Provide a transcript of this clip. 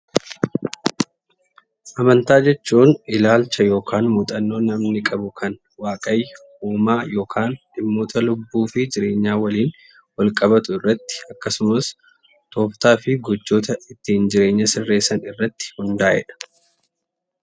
Amantaa jechuun ilaalcha yookaan muuxannoo namni qabu kan uumama yookaan dhimmoota lubbuu fi jireenyaa waliin wajjin wal qabatu irratti akkasumas tooftaa fi gochoota ittiin jireenya sirreessan irratti hundaa'edha.